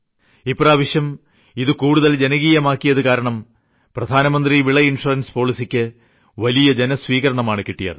ഇപ്രാവശ്യം കൂടുതൽ ജനകീയമാക്കിയതു കാരണം പ്രധാനമന്ത്രി വിള ഇൻഷുറൻസ് പോളിസിക്ക് വലിയ സ്വീകാര്യതയാണ് ജനങ്ങളിൽ നിന്ന് കിട്ടിയത്